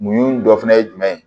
Mun dɔ fɛnɛ ye jumɛn ye